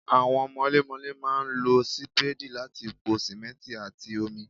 Àwọn mọlémọlé máa ń lo sì Sípéèdì láti po sìmẹ́ǹtì àti omi.